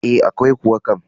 E, akwai kuwa kam.